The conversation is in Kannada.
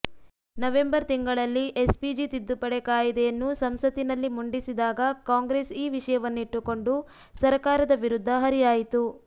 ನವೆಂಬರ್ ತಿಂಗಳಲ್ಲಿಎಸ್ಪಿಜಿ ತಿದ್ದುಪಡಿ ಕಾಯಿದೆಯನ್ನು ಸಂಸತ್ತಿನಲ್ಲಿ ಮುಂಡಿಸಿದಾಗ ಕಾಂಗ್ರೆಸ್ ಈ ವಿಷಯವನ್ನಿಟ್ಟುಕೊಂಡು ಸರಕಾರದ ವಿರುದ್ಧ ಹರಿಹಾಯಿತು